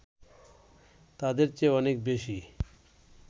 তাদের চেয়ে অনেক বেশি